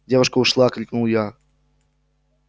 девушка ушла крикнул я